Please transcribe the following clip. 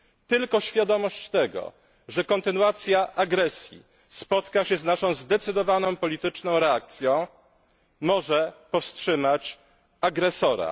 Tylko świadomość tego, że kontynuacja agresji spotka się z naszą zdecydowaną i polityczną reakcją może powstrzymać agresora.